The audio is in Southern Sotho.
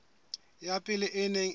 ya pele e neng e